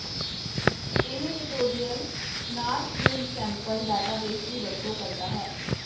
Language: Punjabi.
ਇਹ ਟਿਊਟੋਰਿਅਲ ਨਾਰਥਵਿੰਡ ਸੈਂਪਲ ਡਾਟਾਬੇਸ ਦੀ ਵਰਤੋਂ ਕਰਦਾ ਹੈ